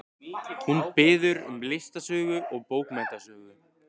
Hún biður um listasögu og bókmenntasögu.